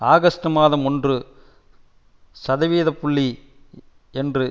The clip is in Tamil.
ஆகஸ்ட் மாதம் ஒன்று சதவிகித புள்ளி என்று